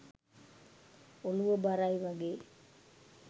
ඔලුව බරයි වගේ.